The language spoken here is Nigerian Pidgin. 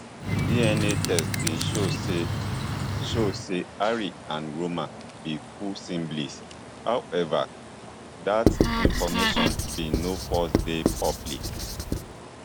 dna tests bin show say show say harry and roman be full siblings however dat information bin no first dey public